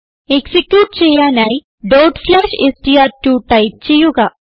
execute ചെയ്യാനായി str2 type ചെയ്യുക